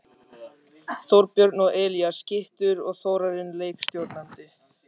Þorbjörn og Elías skyttur og Þórarinn leikstjórnandi!